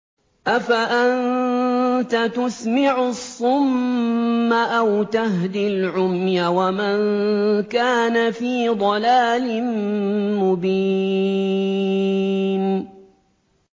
أَفَأَنتَ تُسْمِعُ الصُّمَّ أَوْ تَهْدِي الْعُمْيَ وَمَن كَانَ فِي ضَلَالٍ مُّبِينٍ